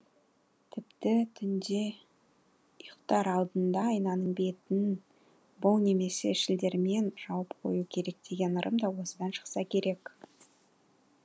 тіпті түнде ұйықтар алдында айнаның бетін бұл немесе шілдермен жауып қою керек деген ырым да осыдан шықса керек